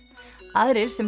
aðrir sem